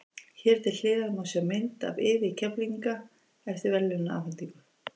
Hér til hliðar má sjá mynd af liði Keflvíkinga eftir verðlaunaafhendingu.